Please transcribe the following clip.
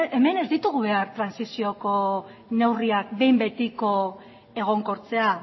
hemen ez ditugu behar trantsizioko neurriak behin betiko egonkortzea